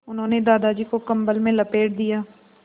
उन्होंने दादाजी को कम्बल में लपेट दिया